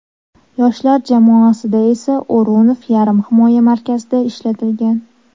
Yoshlar jamoasida esa O‘runov yarim himoya markazida ishlatilgan.